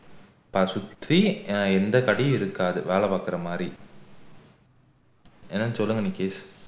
தான் சுற்றி எந்த கடையும் இருக்காது வேலை பாக்குற மாதிரி என்னன்னு சொல்லுங்க எனக்கு